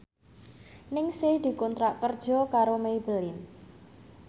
Ningsih dikontrak kerja karo Maybelline